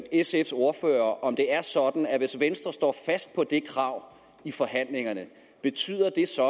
sfs ordfører om det er sådan at hvis venstre står fast på det krav i forhandlingerne betyder det så